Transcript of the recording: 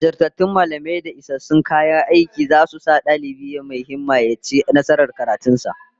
Jajirtattun mallamai da isassun kayan aiki zasu sa dalibi mai himma ya ci nasarar karatun sa